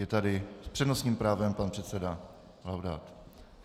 Je tady s přednostním právem pan předseda Laudát.